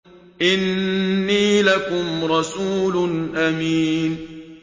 إِنِّي لَكُمْ رَسُولٌ أَمِينٌ